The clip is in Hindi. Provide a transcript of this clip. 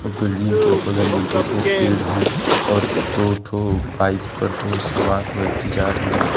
बिल्डिंग के बगल में दो ठो पेड़ है और दो ठो बाइक पर दो सवार व्यक्ति जा रहे हैं।